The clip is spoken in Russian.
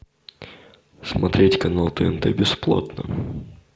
смотреть канал тнт бесплатно